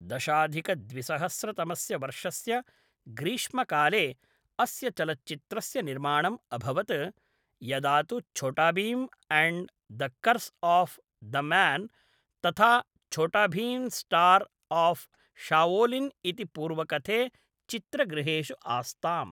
दशाधिकद्विसहस्रतमस्य वर्षस्य ग्रीष्मकाले अस्य चलच्चित्रस्य निर्माणम् अभवत्, यदा तु Chhota Bheem and the curse of Damyaan तथा छोटा भीम्मास्टर् आफ़् शाओलिन् इति पूर्वकथे चित्रगृहेषु आस्ताम्‌।